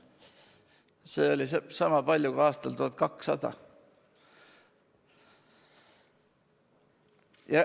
Seda oli sama palju kui aastal 1200.